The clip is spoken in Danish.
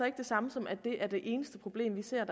ikke det samme som at det er det eneste problem vi ser